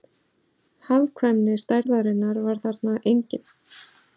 Hagkvæmni stærðarinnar var þarna engin